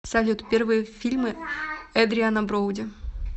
салют первые фильмы эдриана броуди